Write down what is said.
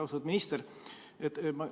Austatud minister!